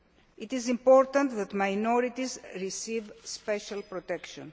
It is important that minorities receive special protection.